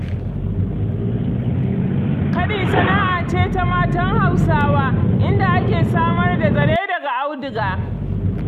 Kaɗi sana'a ce ta matan Hausawa, inda ake samar da zare daga auduga.